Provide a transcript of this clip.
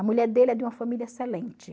A mulher dele é de uma família excelente.